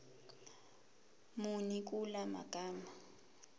muni kula magama